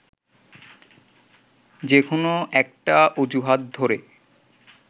যে কোনো একটা অজুহাত ধরে